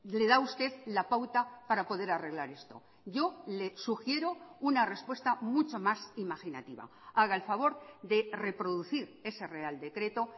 le da a usted la pauta para poder arreglar esto yo le sugiero una respuesta mucho más imaginativa haga el favor de reproducir ese real decreto